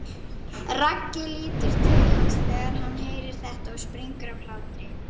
Raggi lítur til hans þegar hann heyrir þetta og springur af hlátri.